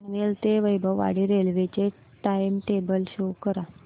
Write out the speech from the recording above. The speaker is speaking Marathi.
पनवेल ते वैभववाडी रेल्वे चे टाइम टेबल शो करा